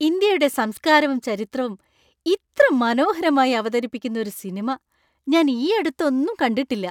ഇന്ത്യയുടെ സംസ്കാരവും ചരിത്രവും ഇത്ര മനോഹരമായി അവതരിപ്പിക്കുന്ന ഒരു സിനിമ ഞാൻ ഈയടുത്തൊന്നും കണ്ടിട്ടില്ല.